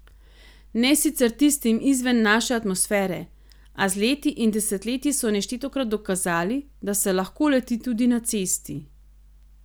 Ne sicer tistim izven naše atmosfere, a z leti in desetletji so neštetokrat dokazali, da se lahko leti tudi na cesti.